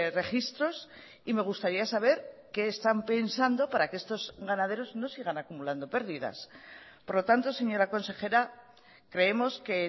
registros y me gustaría saber que están pensando para que estos ganaderos no sigan acumulando pérdidas por lo tanto señora consejera creemos que